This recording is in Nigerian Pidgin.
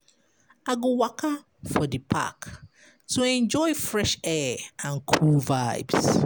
I go waka for di park to enjoy fresh air and cool vibes.